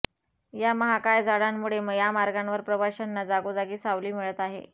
या महाकाय झाडांमुळे यामार्गावर प्रवाशांना जागोजागी सावली मिळत आहे